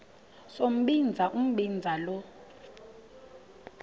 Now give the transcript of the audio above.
sombinza umbinza lo